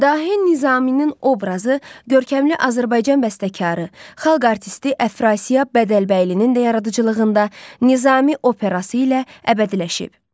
Dahi Nizaminin obrazı görkəmli Azərbaycan bəstəkarı, xalq artisti Əfrasiyab Bədəlbəylinin də yaradıcılığında Nizami operası ilə əbədiləşib.